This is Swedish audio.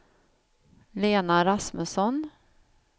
Lena Rasmusson